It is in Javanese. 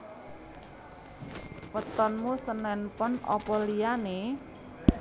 Wetonmu senen pon opo liyane?